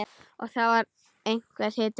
Og það var einhver hiti.